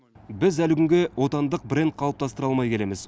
біз әлі күнге отандық бренд қалыптастыра алмай келеміз